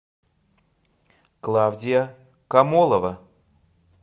клавдия комолова